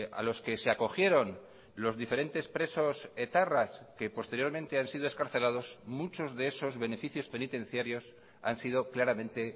a los que se acogieron los diferentes presos etarras que posteriormente han sido excarcelados muchos de esos beneficios penitenciarios han sido claramente